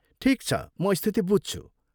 ठिक छ, म स्थिति बुझ्छु।